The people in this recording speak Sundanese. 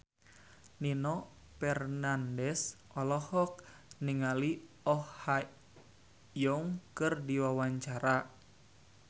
Nino Fernandez olohok ningali Oh Ha Young keur diwawancara